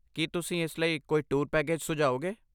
ਕੀ ਤੁਸੀਂ ਇਸ ਲਈ ਕੋਈ ਟੂਰ ਪੈਕੇਜ ਸੁਝਾਓਗੇ?